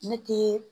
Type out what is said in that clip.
Ne tɛ